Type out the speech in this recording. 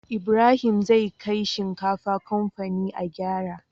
Ibrahim zai kai shinkafa kamfani a gyara